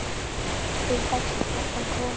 Spil dagsins er þaðan komið.